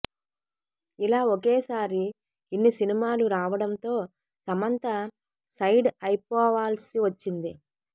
ఇలా ఒకేసారి ఇన్ని సినిమాలు రావడంతో సమంత సైడ్ అయిపోవాల్సి వచ్చింది